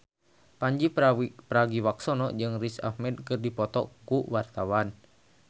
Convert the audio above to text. Pandji Pragiwaksono jeung Riz Ahmed keur dipoto ku wartawan